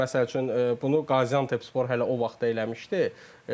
Bəli, məsəl üçün bunu Qaziantepspor hələ o vaxt eləmişdi.